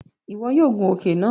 Iwọ o gùn òke náà!